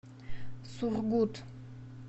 сургут